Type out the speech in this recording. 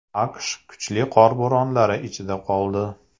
AQSh kuchli qor bo‘ronlari ichida qoldi.